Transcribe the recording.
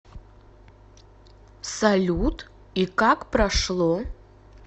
салют и как прошло